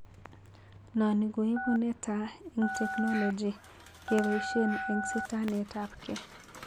Noni koibu netaa eng technology kepaishen eng sitanetap gee..